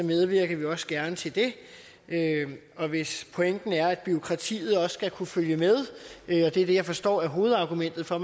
medvirker vi også gerne til det hvis pointen er at bureaukratiet også skal kunne følge med og det er det jeg forstår er hovedargumentet for at